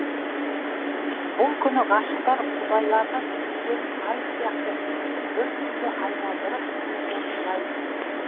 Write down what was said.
бұл күні ғашықтар құдайлардан өздерін ай сияқты бір бүтінге айналдырып қосуын сұрайды